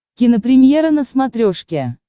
кинопремьера на смотрешке